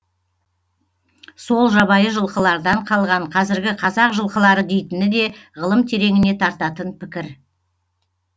сол жабайы жылқылардан қалған қазіргі қазақ жылқылары дейтіні де ғылым тереңіне тартатын пікір